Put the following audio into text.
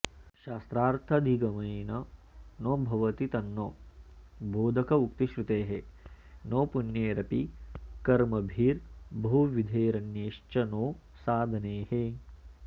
शास्त्रार्थाधिगमेन नो भवति तन्नो बोधकोक्तिश्रुतेः नो पुण्यैरपि कर्मभिर्बहुविधैरन्यैश्च नो साधनैः